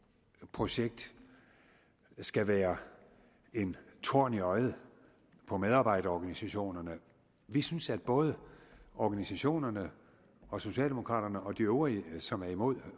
projekt skal være en torn i øjet på medarbejderorganisationerne vi synes at både organisationerne og socialdemokraterne og de øvrige som er imod